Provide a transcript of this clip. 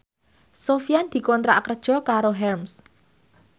Sofyan dikontrak kerja karo Hermes